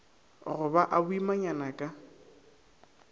go ba a boimanyana ka